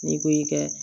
N'i ko i ka